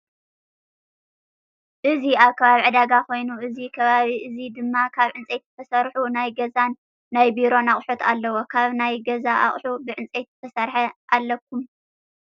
እዚ ኣብ ከባቢ ዕዳጋ ኮይኑ እዚ ከባቢ እዚ ድማ ካብ ዕንፀይቲ ዝተሰርሑ ናይ ገዛን ናይ ቢሮን ኣቁሑት ኣለው። ካብ ናይ ገዛ ኣቅሓ ብዕፀይቲ ዝተሰረሐ ኣለኩም?